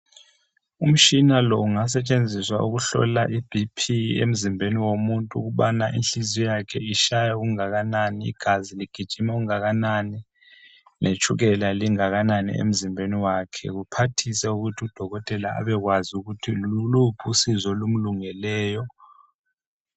Umtshina lo ungasetshenziswa ukuhlola ibhiphi emzimbeni womuntu ukubana inhliziyo yakhe itshaya okungakanani igazi ligijima okungakanani letshukela lingakanani emzimbeni wakhe kuphathise ukuthi udokotela abe kwazi ukuthi yiluphi usizo olumlungeleyo.